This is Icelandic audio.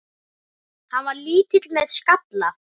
Hann var lítill með skalla.